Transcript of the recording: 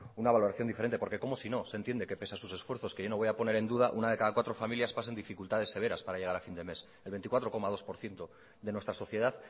una valoración diferente porque cómo sino se entiende que pese a sus esfuerzos que yo no voy a poner en duda una de cada cuatro familias pasen dificultades severas para llegar a fin de mes el veinticuatro coma dos por ciento de nuestra sociedad